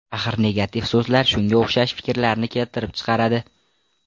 Axir negativ so‘zlar shunga o‘xshash fikrlarni keltirib chiqaradi.